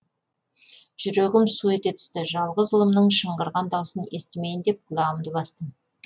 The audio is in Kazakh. жүрегім су ете түсті жалғыз ұлымның шыңғырған даусын естімейін деп құлағымды бастым